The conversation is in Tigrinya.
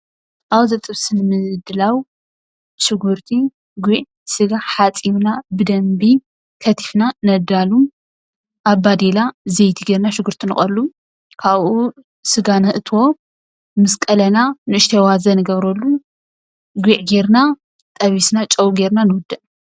አብዚ ጥብሲ ምግቢ ንምድላው ሽጉርቲ፣ ጒዕ፣ ስጋ ሓፂብና ብደንቢ ከቲፍና ነዳሉ። አብ ባዴላ ዘይቲ ጌርና ሽጉርቲ ንቀሉ፤ ካብኡ ስጋ ነእትዎ፤ ምስ ቀለና ንእሽተይ አዋዘ ንገብረሉ፤ ጒዕ ጌርና ጠቢስና፤ ጨው ጌርና ንውድእ።